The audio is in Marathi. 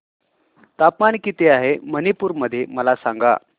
तापमान किती आहे मणिपुर मध्ये मला सांगा